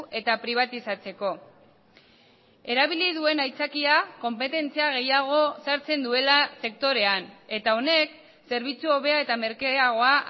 eta pribatizatzeko erabili duen aitzakia konpetentzia gehiago sartzen duela sektorean eta honek zerbitzu hobea eta merkeagoa